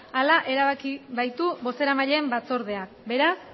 hala erabaki baitu bozeramaileen batzordeak beraz